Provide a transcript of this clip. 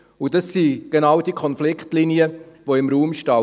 Das sind genau die Konfliktlinien, die im Raum stehen.